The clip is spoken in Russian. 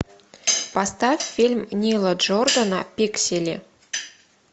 поставь фильм нила джордана пиксели